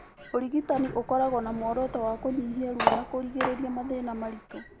Ũrigitani ũkoragũo na mũoroto wa kũnyihia ruo na kũrigĩrĩria mathĩĩna maritũ.